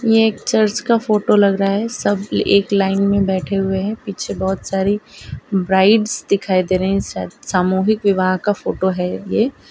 ये एक चर्च का फोटो लग रहा है सब एक लाइन में बैठे हुए हैं पीछे बहोत सारी ब्राइड्स दिखाई दे रहे हैं सामूहिक विवाह का फोटो है ये--